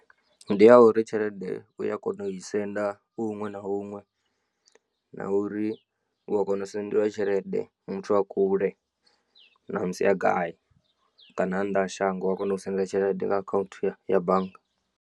Ndi ya uri tshelede uya kona u i senda u huṅwe na huṅwe na uri u a kona u sendelwa tshelede muthu a kule namusi a gai kana a nnḓa ha shango wa kona u u sendela tshelede nga akhaunthu ya bannga.